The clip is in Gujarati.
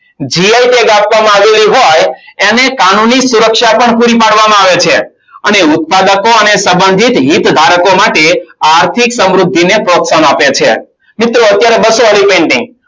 Gi tag આપવામાં આવેલી હોય એને કાનૂની સુરક્ષા પણ પૂરી પાડવામાં આવે છે. અને ઉત્પાદકો અને સંબંધિત હિતધારકો માટે આર્થિક સમૃદ્ધિને પ્રોત્સાહન આપે છે. મિત્રો અત્યારે બસો વાળી painting